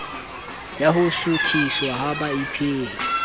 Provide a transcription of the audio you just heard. ya ho suthiswa ha baipehi